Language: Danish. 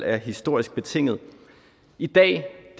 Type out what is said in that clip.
er historisk betingede i dag